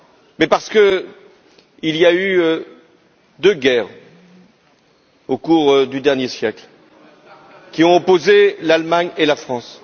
Mais parce qu'il y a eu deux guerres au cours du dernier siècle qui ont opposé l'Allemagne et la France.